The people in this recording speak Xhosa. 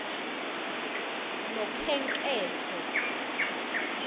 nokhenketho